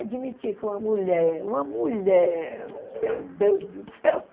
Admitir que uma mulher, uma mulher, meu Deus do céu!